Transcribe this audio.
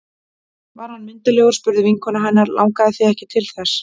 Var hann myndarlegur? spurði vinkona hennar Langaði þig ekki til þess?